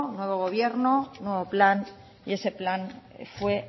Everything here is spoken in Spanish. nuevo gobierno nuevo plan y ese plan fue